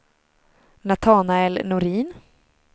Natanael Norin